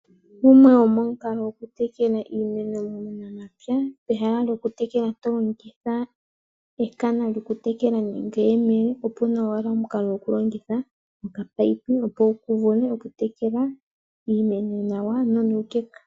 Gumwe gomomukalo gokutekela iimeno muunamapya, peha lyokutekela to longitha ekana lyokutekela nenge eyemele opu na omukalo gokulongitha okapayipi okutekela iimeno nawa nonuukeka.